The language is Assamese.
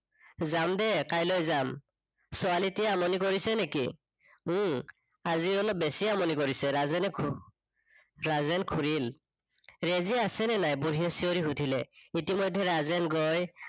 যাম দে কাইলৈ যাম। ছোৱালীটিয়ে আমনি কৰিছে নেকি? উম আজি অলপ বেচিয়ে আমনি কৰিছে। ৰাজেনে হম ৰাজেন ঘূৰিল। ৰেজীয়া আছে নে নাই, বুঢ়ীয়ে চিঞৰি সুধিলে, ইতিমধ্যে ৰাজেন গৈ